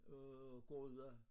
Og går ude